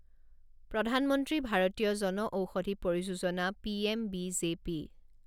প্ৰধান মন্ত্ৰী ভাৰতীয়া জনঔষধি পৰিযোজনা P M B J P